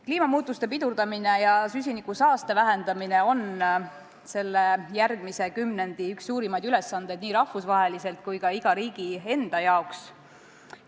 Kliimamuutuste pidurdamine ja süsinikusaaste vähendamine on järgmise kümnendi üks suurimaid ülesandeid nii rahvusvaheliselt kui ka iga riigi enda jaoks.